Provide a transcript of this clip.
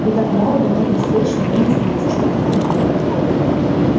вы так молоды так беспечны вы не знаете что такое брак